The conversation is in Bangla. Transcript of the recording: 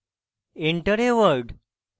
enter a word: